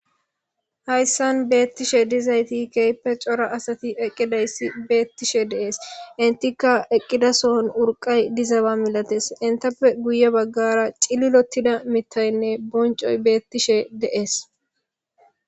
hayssan beettishe dizayti keeppe cora asati eqqidayssi beettishe dees intikka eqqidasohon urqay dizaba milates intappe guye baggara cililotida mitaynne boncoy beettishe dees